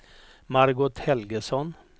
Margot Helgesson